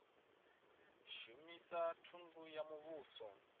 shumisa thundu ya muvhuso na